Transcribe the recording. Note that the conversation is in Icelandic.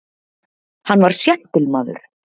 Hann var séntilmaður.